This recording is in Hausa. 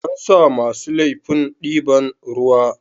An sa masu laifin diban ruwa.